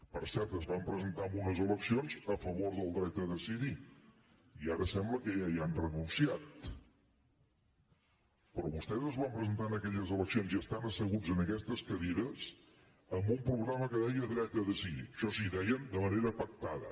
per cert es van presentar a unes eleccions a favor del dret a decidir i ara sembla que ja hi ha renunciat però vostès es van presentar en aquelles eleccions i estan asseguts en aquestes cadires amb un programa que deia dret a decidir això sí deien de manera pactada